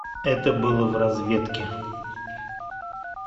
это было в разведке